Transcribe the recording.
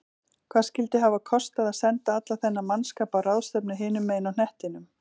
Hvað skyldi hafa kostað að senda allan þennan mannskap á ráðstefnu hinum megin á hnettinum?